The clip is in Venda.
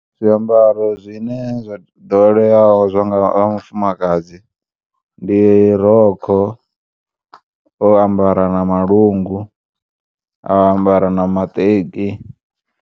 Zwiambaro zwine zwa ḓoweleaho zwa vhafumakadzi ndi rokho, o ambara na malungu, a ambara na maṱeki.